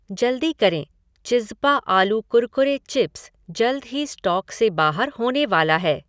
जल्दी करें, चिज़्ज़पा आलू कुरकुरे चिप्स जल्द ही स्टॉक से बाहर होने वाला है